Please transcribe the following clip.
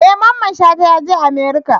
E! Mamman shata yaje America.